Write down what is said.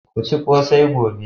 Ku ci kose gobe.